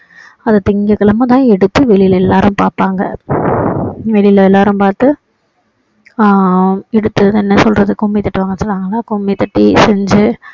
அதை திங்கட்கிழமை தான் எடுத்து வெளியில எல்லாரும் பார்ப்பாங்க வெளியில எல்லாரும் பார்த்து ஆஹ் எடுத்து என்ன சொல்றது கும்மி தட்டுவாங்கன்னு சொல்லுவாங்கல்ல கும்பி கட்டி செஞ்சு